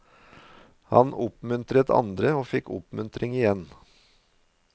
Han oppmuntret andre og fikk oppmuntring igjen.